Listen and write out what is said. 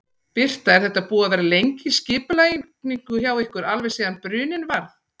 Birta: Er þetta búið að vera lengi í skipulagningu hjá ykkur, alveg síðan bruninn varð?